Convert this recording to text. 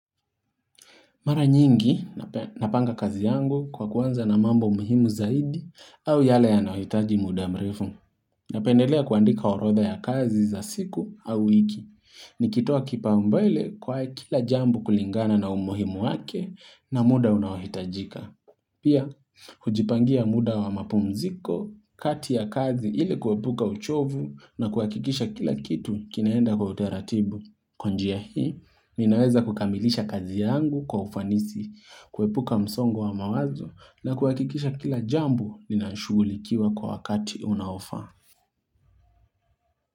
Mara nyingi, napanga kazi yangu kwa kuanza na mambo muhimu zaidi au yale yanawitaji muda mrefu. Napendelea kuandika orodha ya kazi za siku au wiki. Nikitoa kipao mbele kwael kila jambu kulingana na umuhimu wake na muda unawahitajika. Pia, hujipangia muda wa mapumziko, kati ya kazi ili kuepuka uchovu na kuhakikisha kila kitu kinaenda kwa utaratibu. Kwa njia hii, ninaweza kukamilisha kazi yangu kwa ufanisi, kuepuka msongo wa mawazo na kuhakikisha kila jambu linashugulikiwa kwa wakati unaofa.